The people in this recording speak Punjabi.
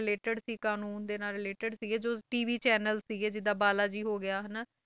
Related ਸੀ ਕਾਨੂੰਨ ਦੇ ਨਾਲ related ਸੀਗੇ ਜੋ TV channel ਸੀ, ਜਿੱਦਾਂ ਬਾਲਾ ਜੀ ਹੋ ਗਿਆ ਹਨਾ,